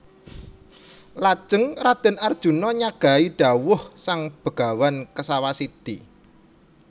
Lajeng Raden Arjuna nyagahi dhawuh sang Begawan Kesawasidhi